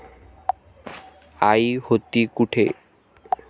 आई होती कुठे?